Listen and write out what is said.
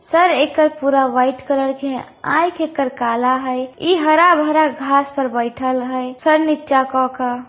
Sir एकर पूरा white colour के हेय ऐख एकर काला हेय इ हरा-भरा घास पर बैठएल हेय सर निचा क के।